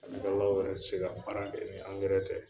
yɛrɛ bi se ka baara kɛ, ni tɛ